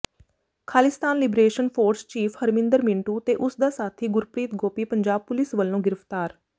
Khalistan liberation force chief Harminder Mintu ਤੇ ਉਸਦਾ ਸਾਥੀ ਗੁਰਪ੍ਰੀਤ ਗੋਪੀ ਪੰਜਾਬ ਪੁਲਿਸ ਵਲੋਂ ਗ੍ਰਿਫਤਾਰ